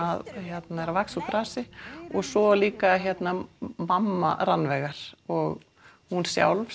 að vaxa úr grasi og svo líka mamma Rannveigar og hún sjálf